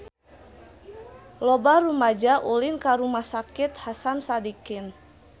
Loba rumaja ulin ka Rumah Sakit Hasan Sadikin